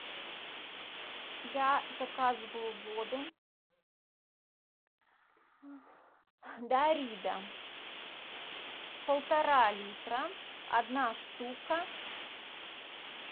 я заказываю воду дарида полтора литра одна штука